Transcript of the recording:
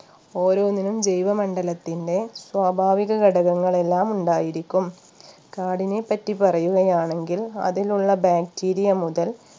ഓരോന്നിനും ജൈവ മണ്ഡലത്തിന്റെ സ്വാഭാവിക ഘടകങ്ങൾ എല്ലാം ഉണ്ടായിരിക്കും കാടിനെപ്പറ്റി പറയുകയാണെങ്കിൽ അതിനുള്ള Bacteria മുതൽ